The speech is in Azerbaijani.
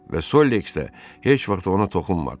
Və Solleks də heç vaxt ona toxunmadı.